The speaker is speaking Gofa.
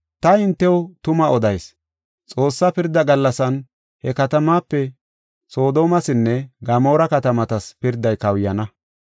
Ta hintew tuma odayis; Xoossaa pirda gallasan he katamaape Soodomesinne Gamoora katamatas pirday kawuyana.